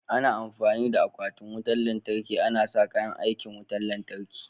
Ana amfani da akwatin wutan lantarki ana sa kayan aikin wutan lantarki.